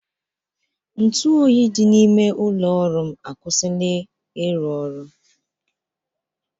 Ntụ oyi dị n'ime ụlọ ọrụ m akwụsịla ịrụ ọrụ